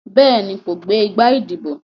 Béèni, kò gbé igbá ìdìbò.